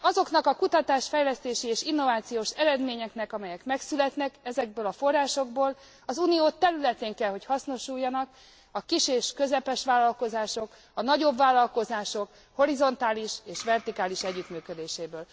Azoknak a kutatásfejlesztési és innovációs eredményeknek, amelyek megszületnek ezekből a forrásokból, az Unió területén kell, hogy hasznosuljanak a kis és közepes vállalkozások, a nagyobb vállalkozások horizontális és vertikális együttműködéséből.